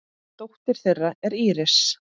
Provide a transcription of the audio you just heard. Dóttir þeirra er Íris.